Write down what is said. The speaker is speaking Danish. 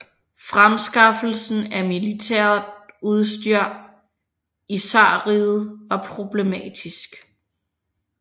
Fremskaffelsen af militært udstyr i zarriget var problematisk